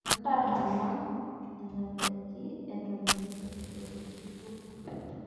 Ntasahala nenadaikin eton etu epiki irkurt.